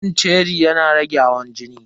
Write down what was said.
Cin ceri yana rage hawan jini.